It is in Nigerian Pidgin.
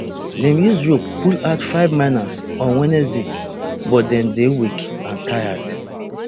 dem use rope pull out five miners on wednesday but dem dey weak and tired